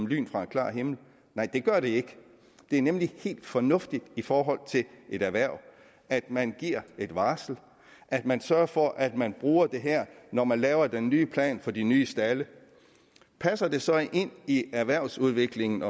lyn fra en klar himmel nej det gør det ikke det er nemlig helt fornuftigt i forhold til et erhverv at man giver et varsel at man sørger for at man bruger det her når man laver den nye plan for de nye stalde passer det så ind i erhvervsudviklingen